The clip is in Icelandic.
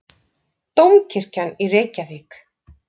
Dómkirkjan í Reykjavík.